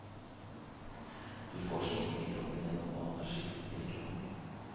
Du får smitten i kroppen gjennom mat og skittent drikkevann.